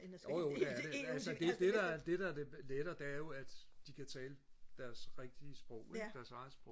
jo jo det er det altså det det der er det der er lettere det er jo at de kan tale deres rigtige sprog ikke deres eget sprog